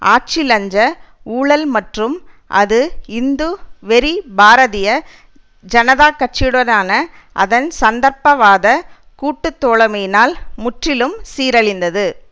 ஆட்சி லஞ்ச ஊழல் மற்றும் அது இந்து வெறி பாரதிய ஜனதா கட்சியுடனான அதன் சந்தர்ப்பவாதக் கூட்டு தோழமையினால் முற்றிலும் சீரழிந்தது